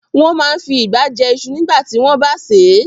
Wọ́n máa n fi ìgbá jẹ iṣu nígbàtí wọ́n bá sè é